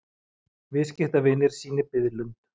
Viðskiptavinir sýni biðlund